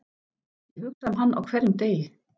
Ég hugsa um hann á hverjum degi.